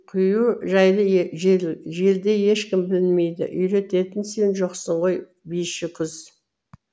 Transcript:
құю жайлы желдей ешкім білмейді үйрететін сен жоқсың ғой биші күз